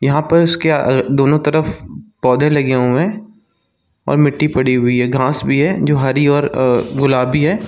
यहाँ पर उसके दोनों तरफ पौधे लगे हुए है और मिटी पड़ी है घास भी है जो हरी और अ गुलाबी है।